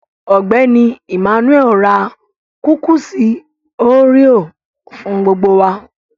Ọgbẹ́ni Emmanuel rà kúkúṣí oréà fún gbogbo wà.